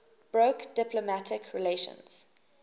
broke diplomatic relations